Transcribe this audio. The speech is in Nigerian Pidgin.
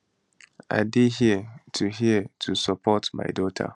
i dey here to here to support my daughter